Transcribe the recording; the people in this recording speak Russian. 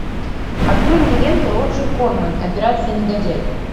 открой мне ленту роджер корман операция негодяй